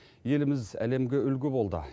еліміз әлемге үлгі болды